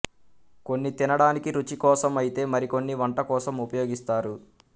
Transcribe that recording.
కొన్ని తినడానికి రుచి కోసం అయితే మరికొన్ని వంట కోసం ఉపయోగిస్తారు